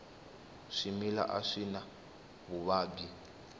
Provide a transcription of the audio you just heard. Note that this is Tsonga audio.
swimila a swi na vuvabyi